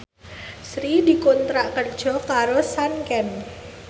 Sri dikontrak kerja karo Sanken